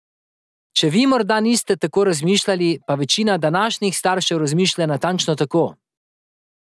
Če vi morda niste tako razmišljali, pa večina današnjih staršev razmišlja natančno tako.